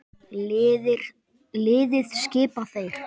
Liðið skipa þeir